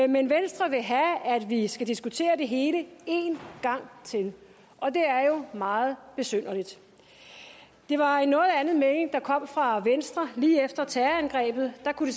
men venstre vil have at vi skal diskutere det hele en gang til og det er jo meget besynderligt det var en noget anden melding der kom fra venstre lige efter terrorangrebet der kunne